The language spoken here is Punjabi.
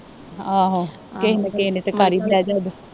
ਆਹੋ ਕਿਹ ਨਾ ਕਿਹ ਨੇ ਤੇ ਕਰ ਈ ਲਿਆ ਯਾਦ